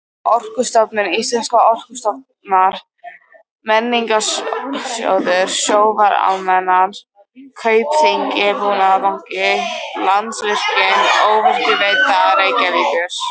Orkustofnun, Íslenskar orkurannsóknir, Menningarsjóður, Sjóvá-Almennar, Kaupþing-Búnaðarbanki, Landsvirkjun, Orkuveita Reykjavíkur